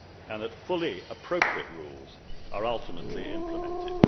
and that fully appropriate rules are ultimately implemented.